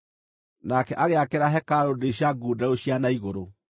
Nake agĩakĩra hekarũ ndirica ngundeeru cia na igũrũ.